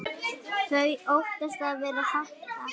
Þau óttast að vera hafnað.